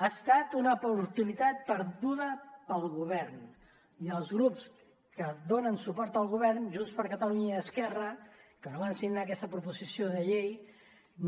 ha estat una oportunitat perduda per al govern i els grups que donen suport al govern junts per catalunya i esquerra que no van signar aquesta proposició de llei